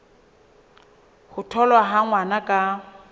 ho tholwa ha ngwana ka